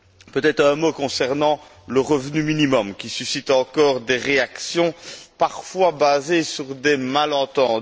Peut être un mot concernant le revenu minimum qui suscite encore des réactions parfois basées sur des malentendus.